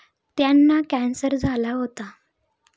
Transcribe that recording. त्यांना कॅन्सर झाला होता.